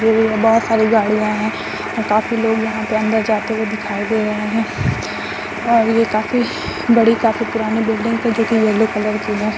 लगी हुई है । बहुत सारी गाड़ियाँ है और काफी लोग यहाँ पे अन्दर जाते हुए दिखाई दे रहे है और ये काफी बड़ी काफी पुरानी बिल्डिंग्स है जो कि येलो कलर की है ।